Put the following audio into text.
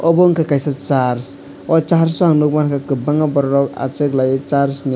abo ungka kaisa church o church o ang nogmangkha kobanga borok rok asok lai church ni.